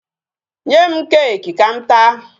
Nye m cake ka m taa.